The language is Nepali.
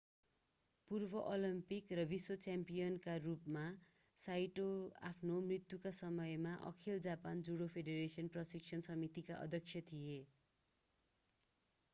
पूर्व ओलम्पिक र विश्व च्याम्पियनका रूपमा साइटो आफ्नो मृत्युका समयमा अखिल जापान जुडो फेडरेशन प्रशिक्षण समितिका अध्यक्ष थिए